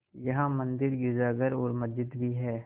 यहाँ मंदिर गिरजाघर और मस्जिद भी हैं